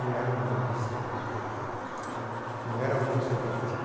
Não era um governo de esquerda autoritário, né, não era a União Soviética.